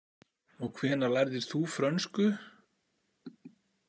Og hvenær lærðir þú frönsku?